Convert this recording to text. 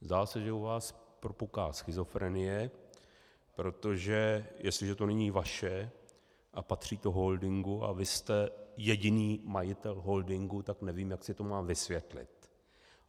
Zdá se, že u vás propuká schizofrenie, protože jestliže to není vaše a patří to holdingu a vy jste jediný majitel holdingu, tak nevím, jak si to mám vysvětlit.